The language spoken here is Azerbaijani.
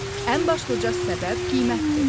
Ən başlıca səbəb qiymətdir.